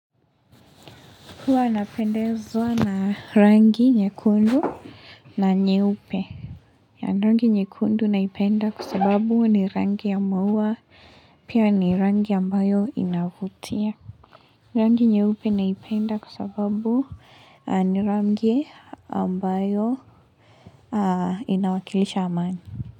Huwa napendezwa na rangi nyekundu na nyeupe. Rangi nyekundu naipenda kwa sababu ni rangi ya maua pia ni rangi ambayo inavutia. Rangi nyeupe naipenda kwa sababu ni rangi ambayo inawakilisha amani.